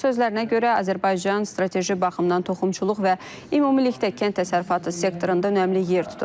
Onun sözlərinə görə, Azərbaycan strateji baxımdan toxumçuluq və ümumilikdə kənd təsərrüfatı sektorunda önəmli yer tutur.